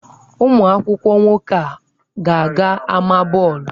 Ụmụ akwụkwọ nwoke a ga-aga ámá bọọlụ?